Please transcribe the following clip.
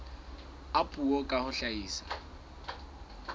a puo ka ho hlahisa